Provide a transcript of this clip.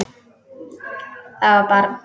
Það var barn.